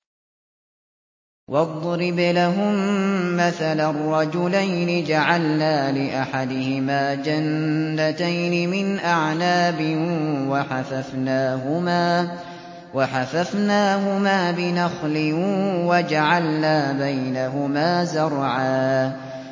۞ وَاضْرِبْ لَهُم مَّثَلًا رَّجُلَيْنِ جَعَلْنَا لِأَحَدِهِمَا جَنَّتَيْنِ مِنْ أَعْنَابٍ وَحَفَفْنَاهُمَا بِنَخْلٍ وَجَعَلْنَا بَيْنَهُمَا زَرْعًا